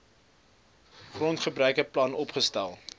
grondgebruike plan opgestel